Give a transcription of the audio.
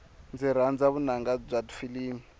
ndzi rhandza vunanga bya tifilimi